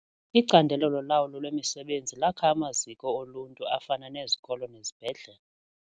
Icandelo lolawulo lwemisebenzi lakha amaziko oluntu afana nezikolo nezibhedlele.